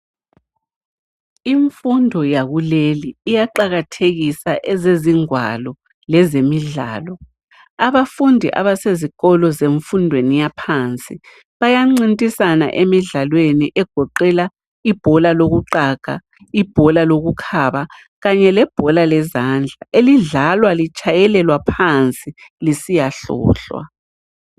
Imfundo yakuleli iyaqakathekisa ezezigwalo lezemidlalo. Abafundi abasezikolo zefundweni yaphansi bayancintisana emidlalweni egoqela ibhola lokuqaga, ibhola lokukhaba kanye lebhola lezandla elidlalwa litshayelelwa phansi lisiyahlohlwa.